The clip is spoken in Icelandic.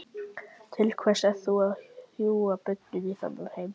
Til hvers ert þú að hrúga börnum í þennan heim?